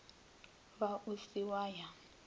ba o se wa ya